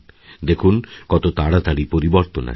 দেখুন কত তাড়াতাড়ি পরিবর্তনআসে